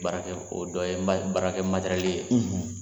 baara kɛ o dɔ ye baarakɛ ye.